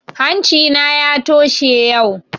Hanci na ya toshe yau